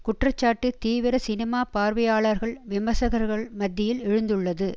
குற்றச்சாட்டு தீவிர சினிமா பார்வையாளர்கள் விமர்சகர்கள் மத்தியில் எழுந்துள்ளது